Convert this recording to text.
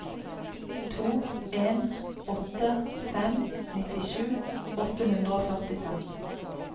to en åtte fem nittisju åtte hundre og førtifem